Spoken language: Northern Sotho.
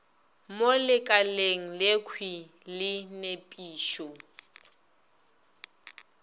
mo lekaleng lekhwi la nepišo